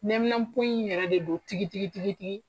Neminɛnpo in yɛrɛ de do tigi tigi.